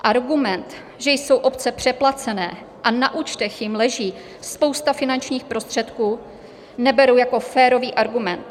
Argument, že jsou obce přeplacené a na účtech jim leží spousta finančních prostředků, neberu jako férový argument.